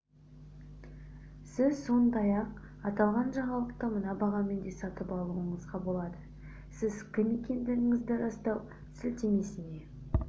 сіз сондай-ақ аталған жаңалықты мына бағамен де сатып алуыңызға болады сіз кім екендігіңізді растау сілтемесіне